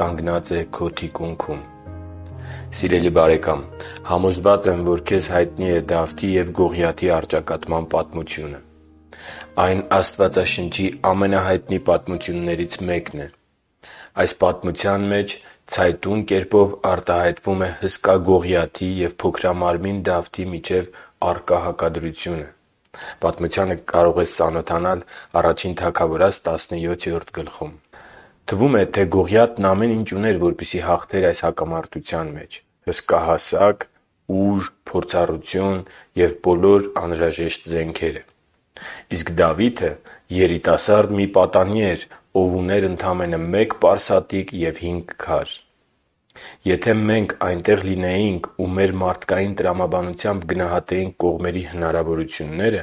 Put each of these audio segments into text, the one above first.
կանգնած է քո թիկունքում… Սիրելի՛ բարեկամ, համոզված եմ, որ քեզ հայտնի է Դավթի և Գողիաթի առճակատման պատմությունը։ Այն Աստվածաշնչի ամենահայտնի պատմություններից մեկն է։ Այս պատմության մեջ ցայտուն կերպով արտահայտվում է հսկա «Գողիաթի» և փոքրամարմին «Դավթի» միջև առկա հակադրությունը (այս պատմությունը կարող ես ընթեցել Ա Թագավորաց 17-րդ գլխում)։ Թվում է, թե Գողիաթն ամեն ինչ ուներ, որպեսզի հաղթեր այս առճակատումը՝ հսկա հասակ, ուժ, փորձառություն և բոլոր անհրաժեշտ զենքերը։ Իսկ Դավիթը երիտասարդ մի պատանի էր, ով ուներ ընդամենը մեկ պարսատիկ և հինգ քար։ Եթե մենք այնտեղ լինեինք ու մեր մարդկային տրամաբանությամբ գնահատեինք կողմերի հնարավորությունները,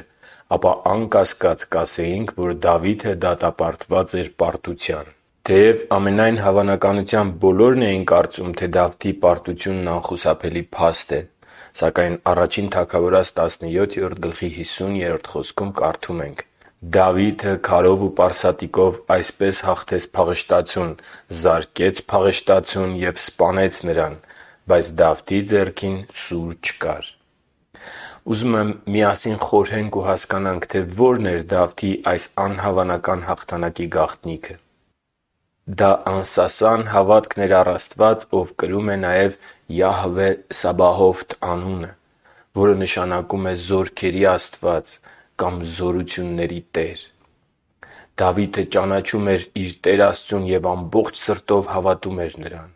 ապա անկասկած կասեինք, որ Դավիթը դատապարտված էր պարտության։ Թեև, ամենայն հավանականությամբ, բոլորն էին կարծում, թե Դավթի պարտությունն անխուսափելի փաստ է, սակայն Ա Թագավորաց 17․50 խոսքում կարդում ենք, որ․․․ «Դավիթը քարով ու պարսատիկով այսպես հաղթեց փղշտացուն, զարկեց փղշտացուն և սպանեց նրան, բայց Դավթի ձեռքին սուր չկար» (Ա Թագավորաց 17․50)։ Ուզում եմ միասին խորհենք ու հասկանանք, թե ո՞րն էր Դավթի այս անհավանական հաղթանակի գաղտնիքը։ Դա անսասան հավատն էր առ Աստված, Ով կրում է նաև ՅԱՀՎԵ ՍԱԲԱՀՈՎԹ անունը, որը նշանակում է Զորքերի Աստված կամ Զորությունների Տեր։ Դավիթը ճանաչում էր իր Տեր Աստծուն և ամբողջ սրտով հավատում էր Նրան։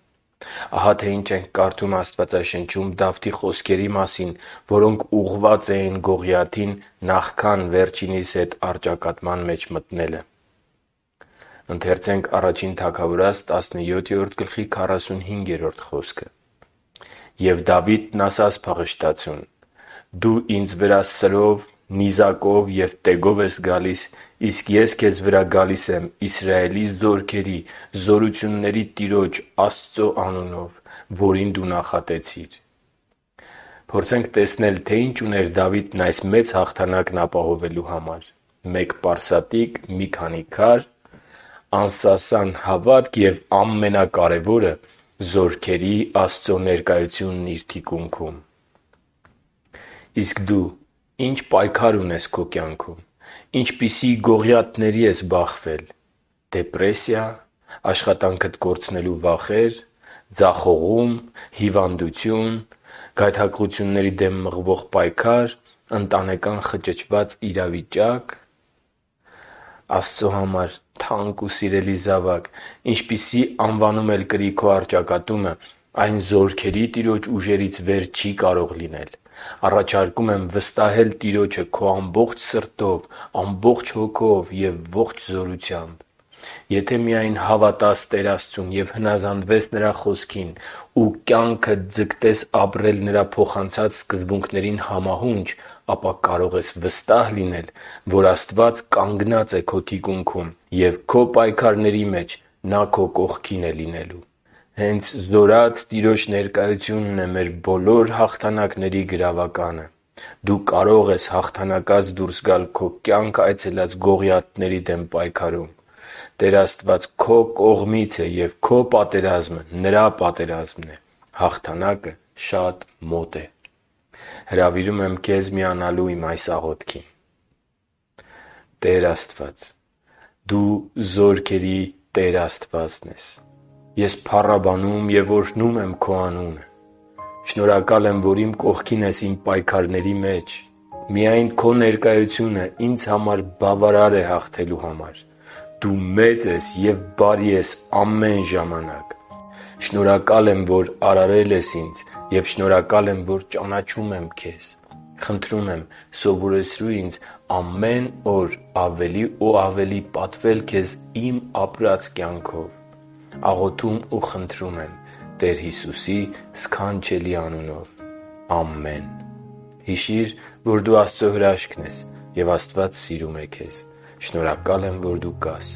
Ահա, թե ինչ ենք կարդում Աստվածաշնչում Դավթի խոսքերի մասին, որոնք ուղղված էին Գողիաթին նախքան վերջինիս հետ առճակատման մեջ մտնելը. «Եվ Դավիթն ասաց փղշտացուն. «Դու ինձ վրա սրով, նիզակով և տեգով ես գալիս, իսկ ես քեզ վրա գալիս եմ Իսրայելի զորքերի Զորությունների Տիրոջ՝ Աստծու անունով, Որին դու նախատեցիր» (Ա Թագավորաց 17․45)։ Փորձենք տեսնել, թե ինչ ուներ Դավիթն այս մեծ հաղթանակն ապահովելու համար՝ մեկ պարսատիկ, մի քանի քարեր, անսասան հավատք և, ամենակարևորը, Զորքերի Աստծո ներկայությունն իր թիկունքում։ Իսկ դու ի՞նչ պայքար ունես քո կյանքում։ Ինչպիսի՞ գողիաթների ես բախվել… - դեպրեսիա՞, - աշխատանքդ կորցնելու վախե՞ր, - ձախողո՞ւմ, - հիվանդությո՞ւն, - գայթակղությունների դեմ մղվող պայքա՞ր, - ընտանեկան խճճված իրավիճա՞կ․․․ Աստծո համար թանկ ու սիրելի՛ զավակ, ինչպիսի անվանում էլ կրի քո առճակատումը, այն Զորքերի Տիրոջ ուժերից վեր չի կարող լինել։ Առաջարկում եմ վստահել Տիրոջը քո ամբողջ սրտով, հոգով և ողջ զորությամբ։ Եթե միայն հավատաս Տեր Աստծուն և հնազանդվես Նրա Խոսքին ու կյանքդ ձգտես ապրել Նրա փոխանցած սկզբունքներին համահունչ, ապա կարող ես վստահ լինել, որ Աստված կանգնած է քո թիկունքում և քո պայքարների մեջ Նա քո կողքին է լինելու։ Հենց Զորությունների Տիրոջ ներկայությունն է մեր բոլոր հաղթանակների գրավականը։ Դու կարո՛ղ ես հաղթանակած դուրս գալ քո կյանք այցելած գողիաթների դեմ պայքարում։ Տեր Աստված քո կողմից է և քո պատերազմը Նրա պատերազմն է։ Հաղթանակը շատ մոտ է․․․ Հրավիրում եմ քեզ միանալու իմ այս աղոթքին. «Տե՛ր Աստված, Դու Զորքերի Տեր Աստվածն ես։ Ես փառաբանում և օրհնում եմ Քո Անունը։ Շնորհակալ եմ, որ իմ կողքին ես իմ պայքարների մեջ։ Միայն Քո ներկայությունը ինձ համար բավարար է հաղթելու համար։ Դու մեծ ես և բարի ես ամեն ժամանակ։ Շնորհակալ եմ, որ արարել ես ինձ, և շնորհակալ եմ, որ ճանաչում եմ Քեզ։ Խնդրում եմ՝ սովորեցրու ինձ ամեն օր ավելի ու ավելի պատվել քեզ իմ ապրած կյանքով։ Աղոթում ու խնդրում եմ Տեր Հիսուսի սքանչելի անունով։ Ամե՛ն»։ Հիշի՛ր, որ դու Աստծո հրաշքն ես, և Աստված սիրում է քեզ։ Շնորհակալ եմ, որ դու կա՛ս